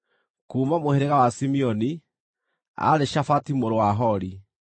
kuuma mũhĩrĩga wa Simeoni, aarĩ Shafati mũrũ wa Hori;